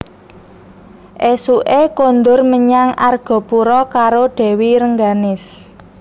Ésuké kondur menyang Argapura karo Dèwi Rengganis